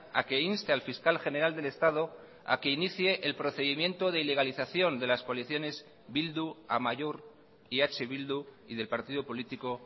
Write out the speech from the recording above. a que inste al fiscal general del estado a que inicie el procedimiento de ilegalización de las coaliciones bildu amaiur y eh bildu y del partido político